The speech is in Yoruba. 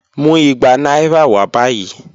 Mu igba naira wa bayi.